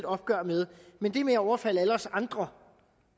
opgør med men det med at overfalde alle os andre